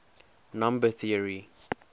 number theory